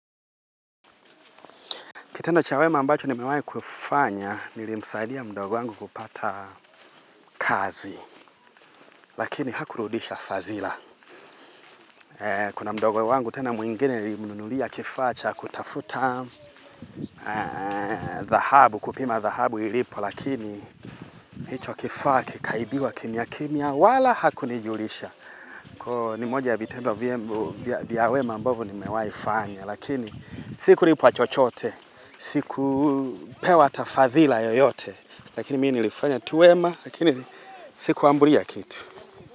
Kitendo cha wema ambacho nimewahi kufanya, nilimsaidia mdogo wangu kupata kazi. Lakini hakurudisha fadhila. Kuna mdogo wangu tena mwingine nilimnunulia kifaa cha, kutafuta, kupima dhahabu ilipo, lakini hicho kifaa, kikaibiwa kimya kimya, wala hakunijulisha. Kwa hio ni moja vitendo vya wema ambavyo nimewahifanya, lakini sikulipwa chochote, sikupewa hata fadhila yoyote. Lakini mimi nilifanya tu wema, lakini sikuambulia kitu.